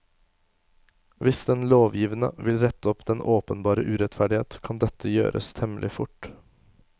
Hvis den lovgivende vil rette opp denne åpenbare urettferdighet, kan det gjøres temmelig fort.